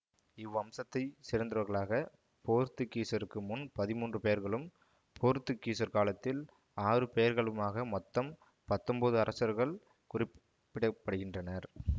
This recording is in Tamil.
இவ்வம்சத்தைச் சேர்ந்தவர்களாகப் போர்த்துக்கீசருக்கு முன் பதிமூன்று பெயர்களும் போர்த்துக்கீசர் காலத்தில் ஆறு பெயர்களுமாக மொத்தம் பத்தொன்பது அரசர்கள் குறிப்பிட படுகின்றனர்